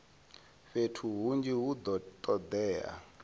fhethu hunzhi hu do todea